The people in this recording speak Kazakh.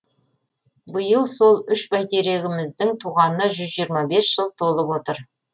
биыл сол үш бәйтерегіміздің туғанына жүз жиырма бес жыл толып отыр